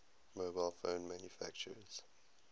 mobile phone manufacturers